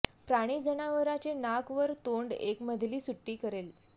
प्राणी जनावराचे नाक वर तोंड एक मधली सुट्टी करेल